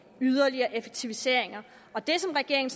yderligere effektiviseringer det som regeringen